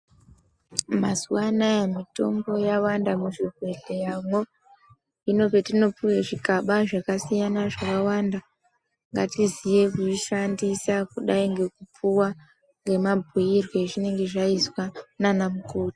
Mazuwa anaya mitombo yawanda muzvibhedhleyamo hino zvatinopuwa zvigaba zvakasiyana zvakawanda ngatiziye kuishandisa kudai nekupuwa nemabhiire azvinenge zvaizwa ndiana mukoti.